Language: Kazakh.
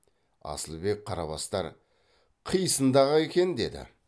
асылбек қарабастар қисынды ақ екен деді